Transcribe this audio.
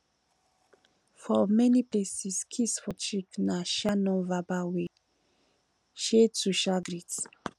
for many places kiss for cheek na um non verbal way um to um greet